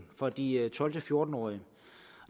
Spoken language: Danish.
for de tolv til fjorten årige